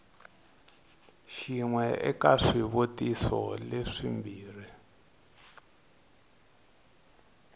xin we eka swivutiso leswimbirhi